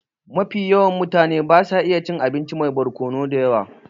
Mafi yawan mutane basu iya cin abinci mai barkonu da yawa